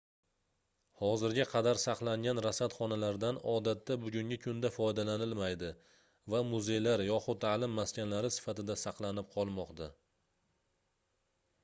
hozirga qadar saqlangan rasadxonalardan odatda bugungi kunda foydalanilmaydi va muzeylar yoxud taʼlim maskanlari sifatida saqlanib qolmoqda